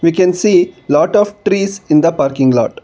we can see a lot of trees in the parking yard.